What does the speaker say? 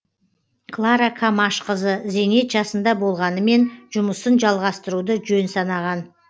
клара камашқызы зейнет жасында болғанымен жұмысын жалғастыруды жөн санаған